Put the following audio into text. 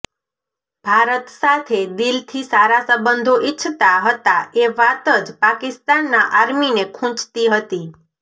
ભારત સાથે દિલથી સારા સંબંધો ઈચ્છતા હતા એ વાત જ પાકિસ્તાનના આર્મીને ખૂંચતી હતી